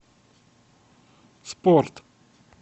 спорт